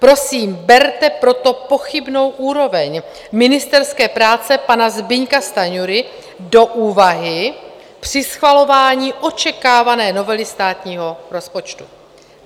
Prosím, berte proto pochybnou úroveň ministerské práce pana Zbyňka Stanjury v úvahu při schvalování očekávané novely státního rozpočtu.